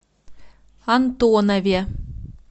антонове